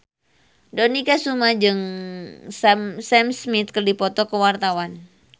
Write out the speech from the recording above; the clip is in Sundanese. Dony Kesuma jeung Sam Smith keur dipoto ku wartawan